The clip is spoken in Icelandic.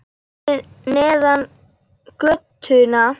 Fyrir neðan götuna.